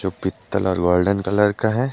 पीतल और golden colour का है।